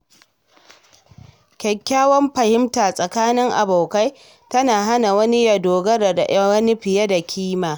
Kyakkyawar fahimta tsakanin abokai tana hana wani ya dogara da wani fiye da kima.